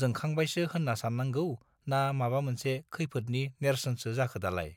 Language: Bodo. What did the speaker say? जोंखांबायसो होत्रा सात्रांगौ ना माबा मोनसे खैफोदनि नेर्सोनसो जाखो दालाय